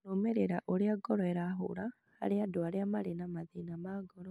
Kũrũmĩrĩra ũrĩa ngoro ĩrahũra harĩ andũ arĩa marĩ na mathĩna ma ngoro,